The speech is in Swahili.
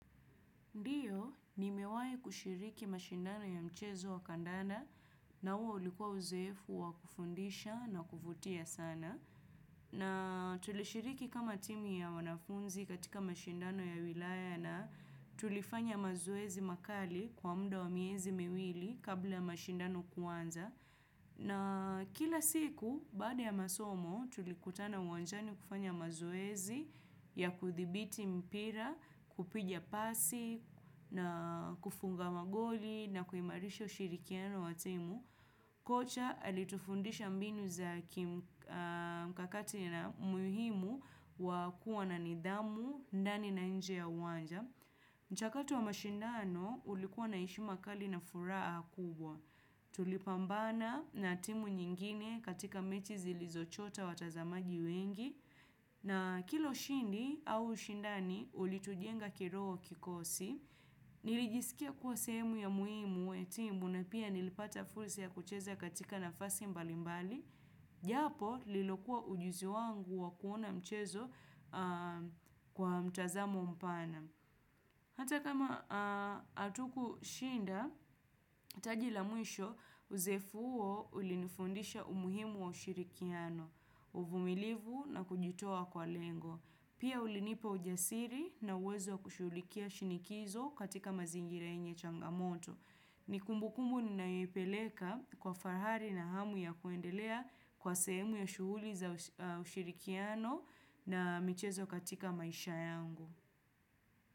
Ndiyo, nimewai kushiriki mashindano ya mchezo wa kandanda na huo ulikuwa uzoefu wa kufundisha na kuvutia sana. Na tulishiriki kama timu ya wanafunzi katika mashindano ya wilaya na tulifanya mazoezi makali kwa mda wa miezi miwili kabla ya mashindano kuanza. Na kila siku, baada ya masomo, tulikutana uwanjani kufanya mazoezi ya kuthibiti mpira, kupiga pasi, na kufunga magoli, na kuimarisha ushirikiano wa timu. Kocha alitufundisha mbinu za mkakati na muhimu wa kuwa na nidhamu, ndani na nje ya uwanja. Mchakato wa mashindano ulikuwa na heshima kali na furaa kubwa. Tulipambana na timu nyingine katika mechi zilizochota watazamaji wengi. Na kilo shindi au ushindani ulitujenga kiroho kikosi. Nilijisikia kuwa sehemu ya muhimu we timu na pia nilipata fursa ya kucheza katika nafasi mbalimbali. Japo lilokuwa ujuzi wangu wa kuona mchezo kwa mtazamo mpana. Hata kama atukushinda, taji la mwisho uzoefu uo ulinifundisha umuhimu wa ushirikiano, uvumilivu na kujitoa kwa lengo. Pia ulinipa ujasiri na uwezo wa kushughulikia shinikizo katika mazingira yenye changamoto. Ni kumbukumbu ninayoipeleka kwa fahari na hamu ya kuendelea kwa sehemu ya shuhuli za ushirikiano na michezo katika maisha yangu.